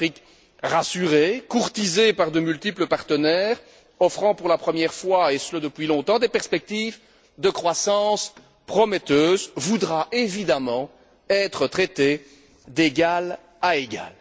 Une Afrique rassurée, courtisée par de multiples partenaires offrant pour la première fois, et ce depuis longtemps, des perspectives de croissance prometteuses, voudra évidemment être traitée d'égal à égal.